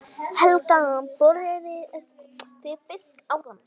Helga: Borðuðu þið fiskinn áðan?